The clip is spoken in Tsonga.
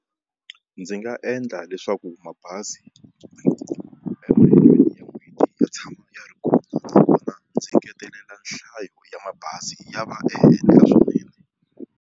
Ndzi nga endla leswaku mabazi emintirhweni ya tshama ya ri kona ndzi ngetelela nhlayo ya mabazi ya va endla swa vurimi.